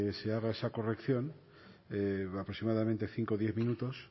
se haga esa corrección aproximadamente cinco o diez minutos